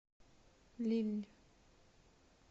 лилль